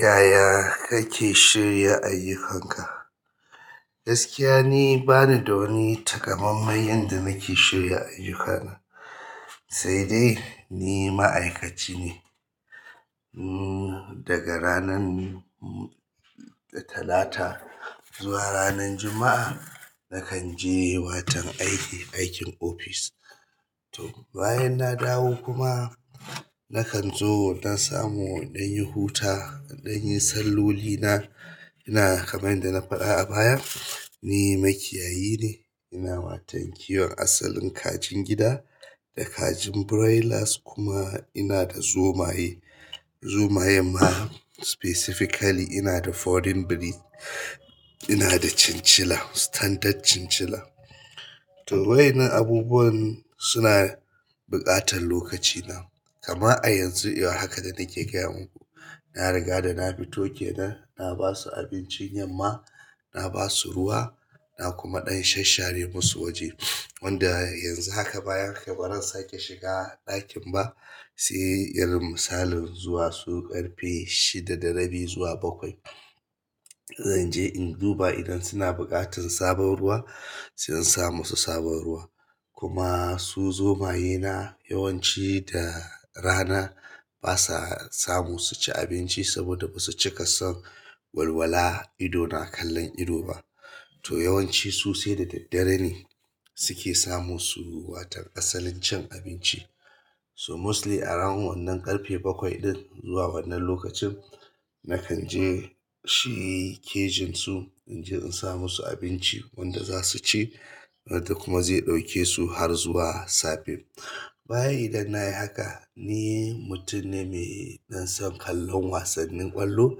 Yaya kake shirya ayyukan ka? Gaskiya ni bani da wani takamaiman yanda nake shirya ayyuka na. Sai dai ni ma'aikaci ne, daga ranan Talata zuwa ranan Juma'a nakan je watan aiki, aikin office. Bayan na dawo kuma, nakan zo in ɗan samu in yi huta, in ɗan yi salloli na ina kamar yadda na faɗa a baya, ni makiyayi ne ina watan kiwon asalin kajin gida, da kajin broilers, kima ina da zomaye zomayen ma specifically ina da foreign breed. Ina da chinchilla, standard chinchilla. To wa'innan abubuwan suna buƙatar lokaci na kamar a yanzu i war haka da nake gaya muku, na rigada na fito kenan, na basu abincin yamma, na ba su ruwa, na kuma ɗan shasshare musu waje. Wanda yanzu haka bayan kai bazan sake shiga ɗakin ba, sai irin misalin zuwa su ƙarfe shida da rabi zuwa bakwai. Zan je in duba idan suna buƙatar sabon ruwa, sai in sa musu sabon ruwa. Kuma su zomayena yawanci da rana basa samu suci abinci, saboda basu cika son walwala ido na kallon ido ba. To yawanci su sai da daddare ne suke samu su watan asalin cin abinci. So mostly around wannan ƙarfe bakwai ɗin zuwa wannan lokacin, nakan je shi cage su, inje in sa musu abinci wanda zasuci wanda kuma zai ɗauke su har zuwa safe. Bayan idan nayi haka, ni mutum ne mai ɗan son kallon wasannin ƙwallo.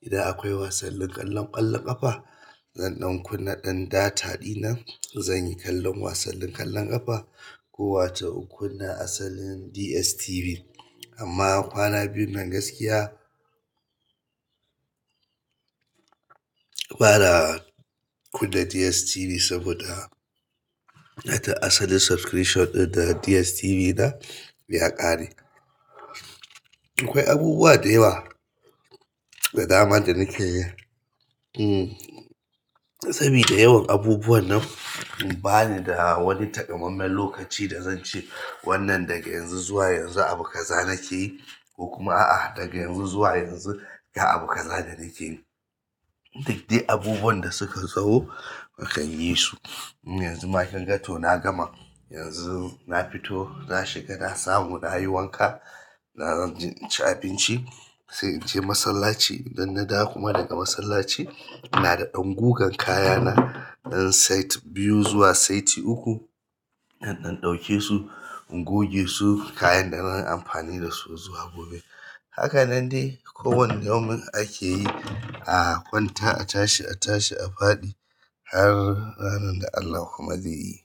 Ida akwai wasalin kallon ƙwallon ƙafa, zan ɗan kunna ɗan data ɗina, zan yi kallon wasannin ƙwallon ƙafa. Ko wato in kunna asalin DSTV. Amma kwana biyun nan gaskiya bana kunna DSTV saboda asalin subscription ɗin da DSTV na ya ƙare. Akwai abubuwa da yawa da dama da nake yi. Sabida yawan abubuwan nan, ba ni da wani takamaiman lokaci da zan ce wannan daga yanzu zuwa yanzu abu kaza nakeyi, ko kuma a'a daga yanzu zuwa yanzu ga abu kaza da nakeyi. Duk dai abubuwan da suka zo nakan yi su yanzu ma kinga to na gama, yanzu na fito, na shiga na samu nayi wanka, na zanje in ci abinci, sai in je masallaci. Idan na dawo kuma daga masallaci, ina da ɗan gugan kaya na, ɗan set biyu zuwa saiti uku. Zan ɗan ɗauke su, in goge su kayan da zan yi amfani da su zuwa gobe. Haka nan dai kowane yaumin ake yi a kwanta, a tashi, a tashi, a faɗi har ranar da Allah kuma zai yi.